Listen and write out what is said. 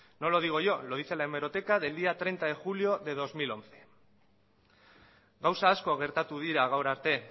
no lo digo yo lo dice la hemeroteca del día treinta de julio del dos mil once gauza asko gertatu dira gaur arte